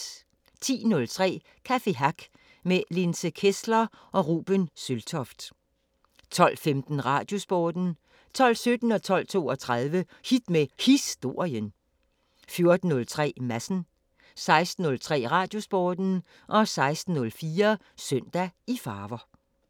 10:03: Café Hack med Linse Kessler og Ruben Sølvtoft 12:15: Radiosporten 12:17: Hit med Historien 12:32: Hit med Historien 14:03: Madsen 16:03: Radiosporten 16:04: Søndag i farver